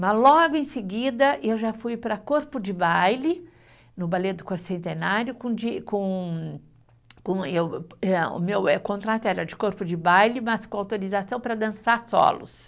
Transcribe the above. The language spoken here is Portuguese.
Mas logo em seguida eu já fui para corpo de baile, no balé do quarto centenário, com de com, com, eu hã, o meu eh, contrato era de corpo de baile, mas com autorização para dançar solos.